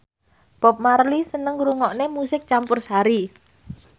Bob Marley seneng ngrungokne musik campursari